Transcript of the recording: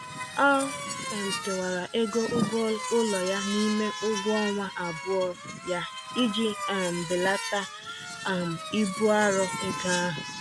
Ọ um kewara ego ụgwọụlọ ya n'ime ụgwọọnwa abụọ ya iji um belata um ibu arọ ego ahụ.